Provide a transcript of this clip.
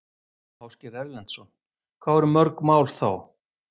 Ásgeir Erlendsson: Hvað voru mörg mál þá?